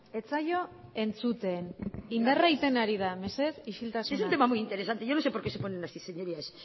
ez zaio entzuten indarra egiten ari da mesedez isiltasuna si es un tema muy interesante yo no sé por qué se ponen así señorías